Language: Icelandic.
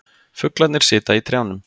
Fuglarnir sitja í trjánum.